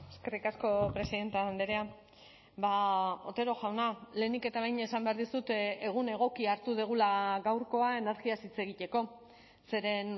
eskerrik asko presidente andrea otero jauna lehenik eta behin esan behar dizut egun egokia hartu dugula gaurkoa energiaz hitz egiteko zeren